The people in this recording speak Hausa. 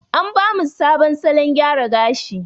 An ba mu sabon salon gyara gashi.